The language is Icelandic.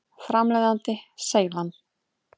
Framleiðandi: Seylan.